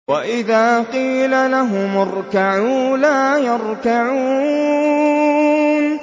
وَإِذَا قِيلَ لَهُمُ ارْكَعُوا لَا يَرْكَعُونَ